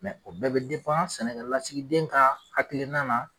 Mɛ o bɛɛ be depan sɛnɛ lasigiden ka hakilina na